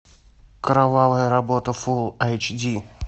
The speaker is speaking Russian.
кровавая работа фул айч ди